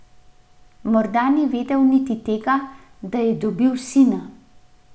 Morda ni vedel niti tega, da je dobil sina.